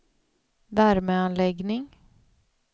värmeanläggning